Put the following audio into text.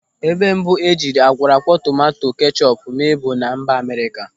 Ebe mbụ e jiri akwọrọakwọ tomanto kechọpu mee bụ na mba Amerịka.